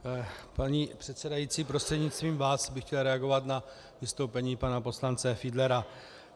Paní předsedající, prostřednictvím vás bych chtěl reagovat na vystoupení pana poslance Fiedlera.